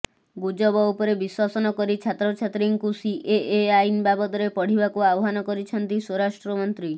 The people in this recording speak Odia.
ଗୁଜବ ଉପରେ ବିଶ୍ୱାସ ନକରି ଛାତ୍ରଛାତ୍ରୀଙ୍କୁ ସିଏଏ ଆଇନ ବାବଦରେ ପଢ଼ିବାକୁ ଆହ୍ୱାନ କରିଛନ୍ତି ସ୍ୱରାଷ୍ଟ୍ରମନ୍ତ୍ରୀ